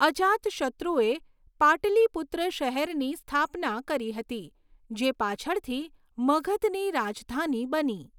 અજાતશત્રુએ પાટલીપુત્ર શહેરની સ્થાપના કરી હતી જે પાછળથી મગધની રાજધાની બની.